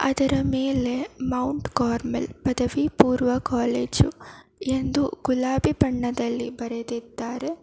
ಇದರ ಮೇಲೆ Mount Carmel ಪದವಿ ಪೂರ್ವ ಕಾಲೇಜು ಎಂದು ಗುಲಾಬಿ ಬಣ್ಣದಲ್ಲಿ ಬರೆದಿದ್ದಾರೆ.